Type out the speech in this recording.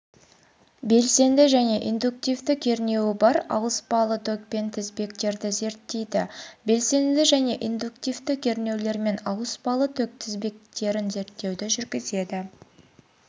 белсенді және индуктивті кернеуі бар ауыспалы токпен тізбектерді зерттейді белсенді және индуктивті кернеулермен ауыспалы ток тізбектерін зерттеуді жүргізеді